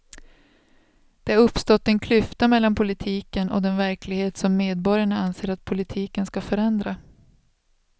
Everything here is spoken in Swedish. Det har uppstått en klyfta mellan politiken och den verklighet som medborgarna anser att politiken ska förändra.